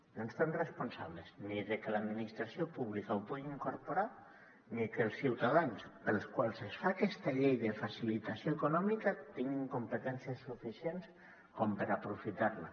no ens fem responsables ni de que l’administració pública ho pugui incorporar ni que els ciutadans als quals es fa aquesta llei de facilitació econòmica tinguin competències suficients com per aprofitar la